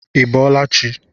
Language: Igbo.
I bọọla chi!